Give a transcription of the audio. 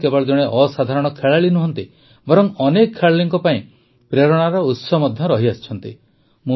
ମିତାଲି କେବଳ ଜଣେ ଅସାଧାରଣ ଖେଳାଳି ନୁହନ୍ତି ବରଂ ଅନେକ ଖେଳାଳିଙ୍କ ପାଇଁ ପ୍ରେରଣାର ଉତ୍ସ ମଧ୍ୟ ରହିଆସିଛନ୍ତି